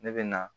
Ne bɛ na